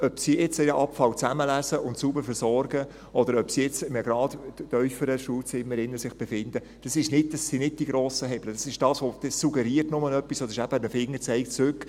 Ob sie jetzt ihren Abfall aufsammeln und sauber versorgen, oder ob sie sich jetzt in einem um 1 Grad kühleren Schulzimmer befinden – das sind nicht die grossen Hebel, das suggeriert nur etwas, und das ist eben ein Fingerzeig zurück: